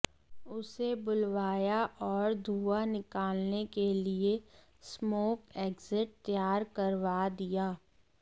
उसे बुलवाया और धुआं निकालने के लिए स्मोक एक्जिट तैयार करवा दिया